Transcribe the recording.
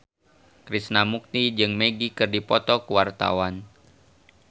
Krishna Mukti jeung Magic keur dipoto ku wartawan